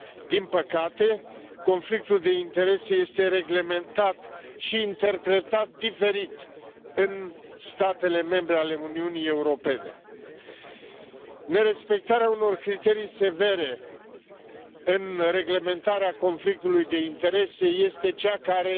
Din păcate, conflictul de interese este reglementat și interpretat diferit în statele membre ale Uniunii Europene. Nerespectarea unor criterii severe în reglementarea conflictului de interese este cea care